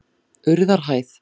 Urðarhæð